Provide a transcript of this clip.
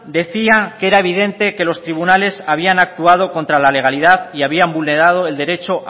decía que era evidente que los tribunales habían actuado contra la legalidad y habían vulnerado el derecho